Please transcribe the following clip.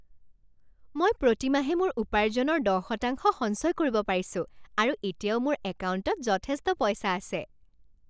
মই প্ৰতি মাহে মোৰ উপাৰ্জনৰ দহ শতাংশ সঞ্চয় কৰিব পাৰিছোঁ আৰু এতিয়াও মোৰ একাউণ্টত যথেষ্ট পইচা আছে।